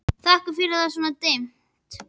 Þakkaði fyrir að það var svona dimmt.